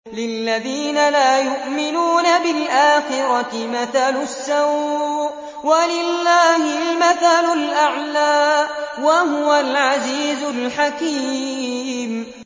لِلَّذِينَ لَا يُؤْمِنُونَ بِالْآخِرَةِ مَثَلُ السَّوْءِ ۖ وَلِلَّهِ الْمَثَلُ الْأَعْلَىٰ ۚ وَهُوَ الْعَزِيزُ الْحَكِيمُ